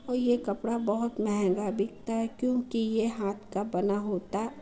और यह कपड़ा बोहत महंगा बिकता है क्योंकि यह हाथ का बना होता --